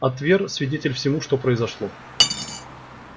а твер свидетель всему что произошло